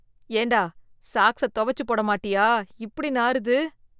ஏண்டா சாக்ஸ துவச்சு போட மாட்டியா இப்படி நாறுது.